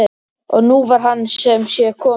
Og nú var hann sem sé kominn!